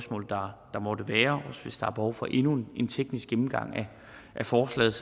hvis der er behov for endnu en teknisk gennemgang af forslaget